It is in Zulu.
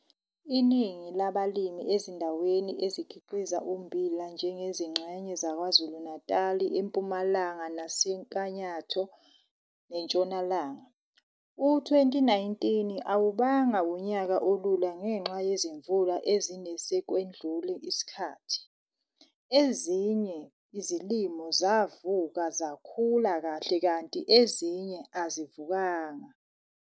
ININGI LABALIMI EZINDAWENI EZIKHIQIZA UMMBILA NJENGEZINGXENYE ZAKWAZULU-NATAL, EMPUMALANGA NASENYAKATHO NENTSHONALANGA, U-2019 AWUBANGA UNYAKA OLULA NGENXA YEZIMVULA EZINE SEKWEDLULE ISIKHATHI. EZINYE IZILIMO ZAVUKA ZAKHULA KAHLE KANTI EZINYE AZIVUKANGA